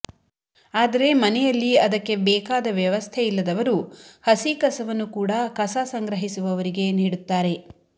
ಆದರೆ ಮನೆಯಲ್ಲಿ ಅದಕ್ಕೆ ಬೇಕಾದ ವ್ಯವಸ್ಥೆ ಇಲ್ಲದವರು ಹಸಿ ಕಸವನ್ನು ಕೂಡಾ ಕಸ ಸಂಗ್ರಹಿಸುವವರಿಗೆ ನೀಡುತ್ತಾರೆ